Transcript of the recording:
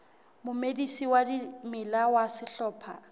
momedisi wa dimela ya sehlopha